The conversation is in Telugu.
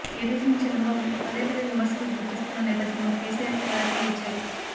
ఏపీ సీఎం చంద్రబాబు పదే పదే విమర్శలు గుప్పిస్తున్న నేపథ్యంలో కేసీఆర్ క్లారిటీ ఇచ్చారు